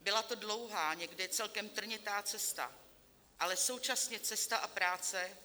Byla to dlouhá, někdy celkem trnitá cesta, ale současně cesta a práce,